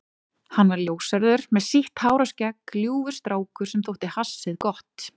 Hann var ljóshærður með sítt hár og skegg, ljúfur strákur sem þótti hassið gott.